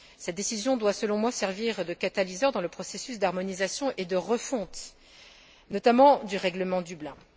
Cette décision doit, selon moi, servir de catalyseur dans le processus d'harmonisation et de refonte, notamment du règlement de Dublin.